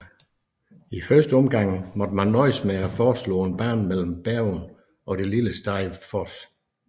I første omgang måtte man nøjes med at foreslå en bane mellem Bergen og det lille sted Voss